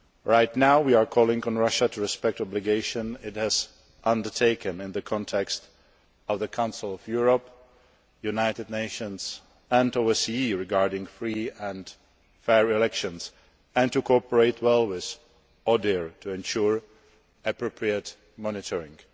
Right now, we are calling on Russia to respect obligations it has undertaken in the context of the Council of Europe, the United Nations and the OSCE regarding free and fair elections, and to cooperate well with ODIHR to ensure appropriate monitoring.